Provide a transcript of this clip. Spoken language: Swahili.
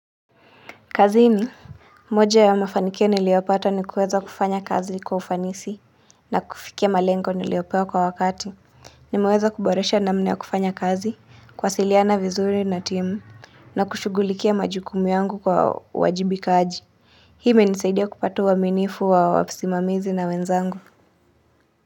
Kazini, moja ya mafanikio niliopata ni kuweza kufanya kazi kwa ufanisi na kufikia malengo niliyopewa kwa wakati. Nimeweza kuboresha namna ya kufanya kazi, kuwasiliana vizuri na timu, na kushugulikia majukumu yangu kwa uwajibikaji. Hii imenisaidia kupata uaminifu wa kisimamizi na wenzangu.